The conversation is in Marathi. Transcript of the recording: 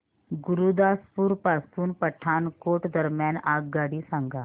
गुरुदासपुर पासून पठाणकोट दरम्यान आगगाडी सांगा